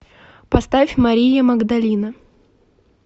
поставь мария магдалина